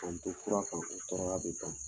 ko kura kan, ko kɔrɔya bi ban.